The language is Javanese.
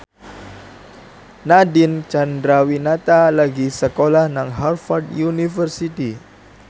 Nadine Chandrawinata lagi sekolah nang Harvard university